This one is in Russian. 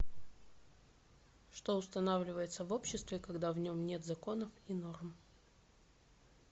что устанавливается в обществе когда в нем нет законов и норм